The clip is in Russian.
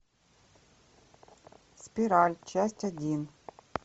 спираль часть один